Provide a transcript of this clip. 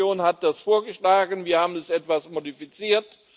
Die Kommission hat das vorgeschlagen, wir haben es etwas modifiziert.